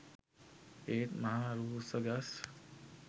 ඒත් මහ රූස්ස ගස්